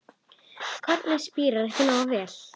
Kornið spíraði ekki nógu vel.